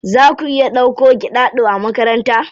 Za ku iya dauko Giɗaɗo a makaranta?